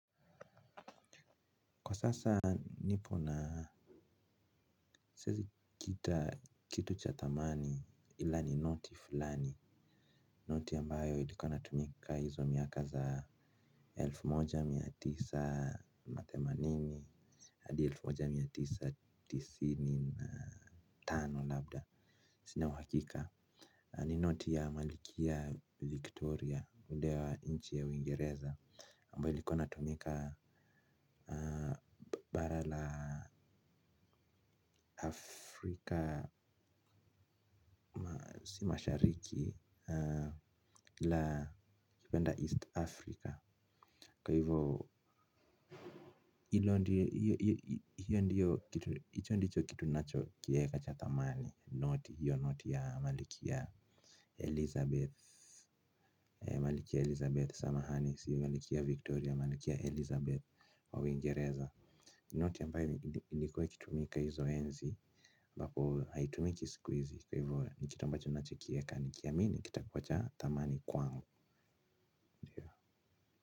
Kwa sasa nipo na sizi kita kitu cha thamani ila ni noti fulani. Noti ambayo ilikuwa natumika hizo miaka za elfu moja mia tisa na themanini haldi elfu moja mia tisa tisini na tano labda sina uhakika. Ni noti ya malkia Victoria yule wa inchi ya uingereza ambayo ilikuwa inatumika bara la Afrika. Si mashariki la kipenda East Africa. Kwa hivyo, hiyo ndiyo, hiyo ndicho kitu nacho kieka cha thamani. Noti, hiyo noti ya malkia Elizabeth. Malkia Elizabeth samahani, siyo malkia Victoria, malkia Elizabeth wa uingereza. Noti ambayo, ilikua ikitumika hizo enzi, ambapo, haitumiki siku hizi. Kwa hivyo, ni kitu ambacho nacho kieka, nikiamini, kitakuwa cha thamani kwangu.